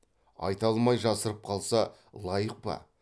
айта алмай жасырып қалса лайық па